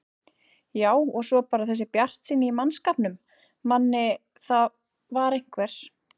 Já og svo bara þessi bjartsýni í mannskapnum, Manni, það var einhver